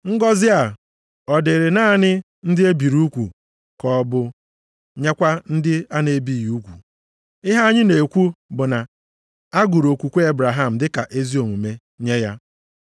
Ngọzị a ọ dịrị naanị ndị e biri ugwu ka ọ bụ nyekwa ndị a na-ebighị ugwu? Ihe anyị na-ekwu bụ na a gụrụ okwukwe Ebraham dị ka ezi omume nye ya.